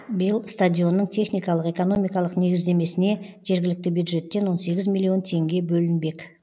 биыл стадионның техникалық экономикалық негіздемесіне жергілікті бюджеттен он сегіз миллион теңге бөлінбек